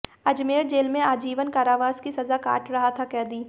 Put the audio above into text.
Ajmer jail में आजीवन कारावास की सजा काट रहा था कैदी